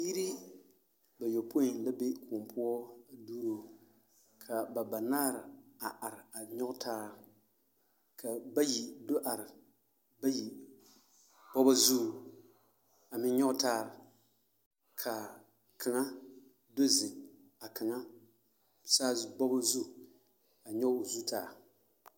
Biiri bayɔpoi la be kõɔ poɔ a duuro ka ba banaare a are a nyɔge taa ka bayi do are bayi bɔgɔ zuŋ a meŋ nyɔge taare ka kaŋa do zeŋ a kaŋa bɔgɔ zu a nyɔge o zu taa.